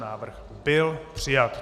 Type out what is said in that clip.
Návrh byl přijat.